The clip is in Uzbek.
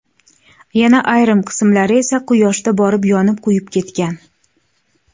Yana ayrim qismlari esa Quyoshda borib yonib-kuyib ketgan.